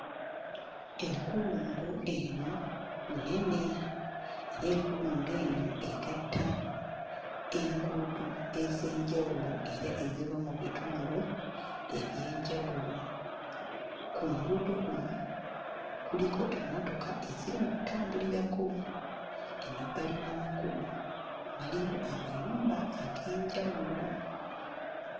Enkulungo eno nnene era enkulungo eno egatta enguudo ez'enjawulo era eziva mu bitundu eby'enjawulo ku nguudo kuno kuliko emmotoka eziri mu kutambulirako. Emabbali w'amakubo waliyo amayumba ag'enjawulo.